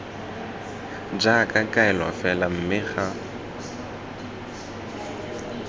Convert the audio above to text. jaaka kaelo fela mme ga